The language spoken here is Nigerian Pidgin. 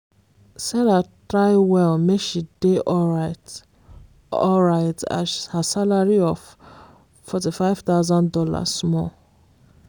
sarah try well make she dey alryt alryt as her salary of $45000 small